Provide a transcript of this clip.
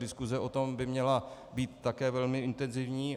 Diskuse o tom by měla být také velmi intenzivní.